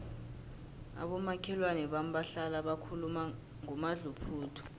abomakhelwana bami bahlala bakhuluma ngomadluphuthu